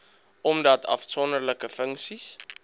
omdat afsonderlike funksies